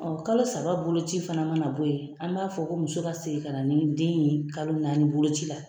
kalo saba boloci fana mana bɔ yen, an b'a fɔ ko muso ka segin ka na ni den ye kalo naani boloci la.